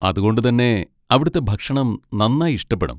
അതുകൊണ്ട് തന്നെ അവിടുത്തെ ഭക്ഷണം നന്നായി ഇഷ്ടപ്പെടും.